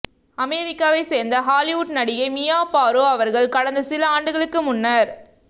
அமெரிக்காவை சேர்ந்த ஹாலிவுட் நடிகை மியா பாரோ அவர்கள் கடந்த சில ஆண்டுகளுக்கு முன்னர்